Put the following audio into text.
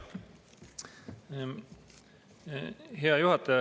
Hea juhataja!